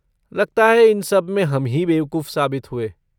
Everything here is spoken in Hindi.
लगता है, इन सब में हम ही बेवकूफ साबित हुए,